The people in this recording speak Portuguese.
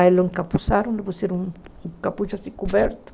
Aí o encapuzaram, lhe puseram um capucho assim, coberto.